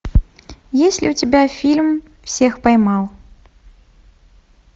есть ли у тебя фильм всех поймал